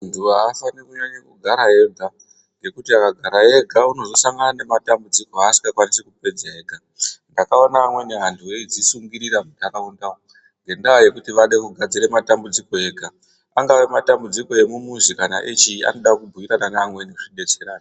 Muntu aafani kunyanye kugara ega, ngekuti akagara ega unozosangana nematambudziko aasingakwanisi kupedza ega. Ndakaona amweni antu eidzisungirira muntaraunda ngendaa yekuti ade kugadzire matambudiko ake ega, angawe matambudiko emumuzi kana echii, anoda kubhuyirana nevamweni zvidetserane.